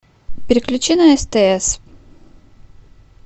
переключи на стс